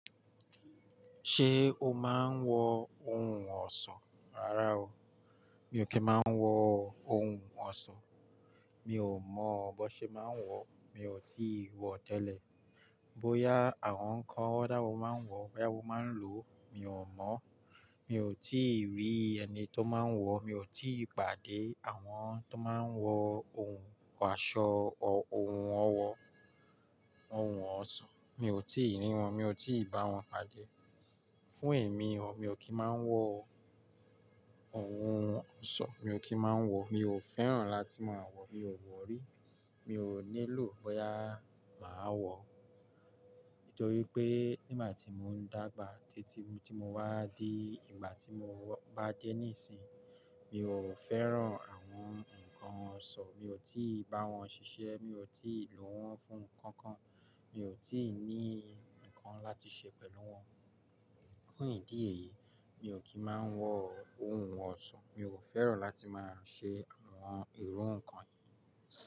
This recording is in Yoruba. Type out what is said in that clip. Ṣé o máa ń wọ ohun ọ̀ṣọ́? Rárá o, mi ò kí ń máa ń wọ ohun ọ̀ṣọ́. Mi ò mọ̀ bó ṣe máa ń wọ, mi ò tíì wọ tẹ́lẹ̀. Bóyá àwọn nǹkan ọ̀dà wo máa ń wọ, báyá wo máa ń lò, mi ò mọ̀. Mi ò tíì rí ẹni tó máa ń wọ, mi ò tí ì pàdé àwọn tó máa ń wọ ohun aṣọ ọ ohun ọwọ ohun ọ̀ṣọ́. Mi ò tíì rí wọn, mi ò tí ì bá wọn pàdé. Fún èmi o, mi ò kí ń máa ń wọ ohun ọ̀ṣọ́, mi ò kí ń máa ń wọ, mi ò fẹ́ràn láti máa wọ, mi ò wọ̀ rí, mi ò nílò bóyá màá wọ. Nítorí pé nígbà tí mo ń dàgbà títí tí mo wá dí ìgbà tí mo wọ bá dé níìsín, mi ò fẹ́ràn àwọn nǹkan ọ̀ṣọ́, mi ò tí ì bá wọn ṣiṣẹ́, mi ò tí ì lò wọ́n fún nǹkan kan, mi ò tí ì ní nǹkan láti ṣe pẹ̀lú wọn. Fún ìdí èyí, mi ò kí ń máa ń wọ ohun ọ̀ṣọ́, mi ò fẹ́ràn láti máa ṣe àwọn irú nǹkan yìí.